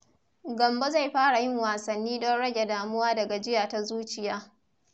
Gambo zai fara yin wasanni don rage damuwa da gajiya ta zuciya.